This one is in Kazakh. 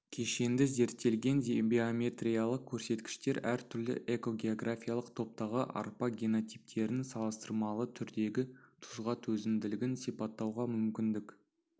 кешенді зерттелген биометриялық көрсеткіштер әр түрлі экогеографиялық топтағы арпа генотиптерінің салыстырмалы түрдегі тұзға төзімділігін сипаттауға мүмкіндік